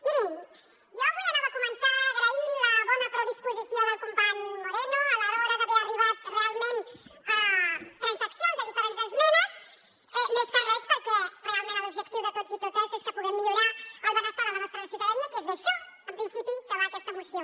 mirin jo avui anava a començar agraint la bona predisposició del company moreno a l’hora d’haver arribat realment a transaccions de diferents esmenes més que res perquè realment l’objectiu de tots i totes és que puguem millorar el benestar de la nostra ciutadania que és d’això en principi que va aquesta moció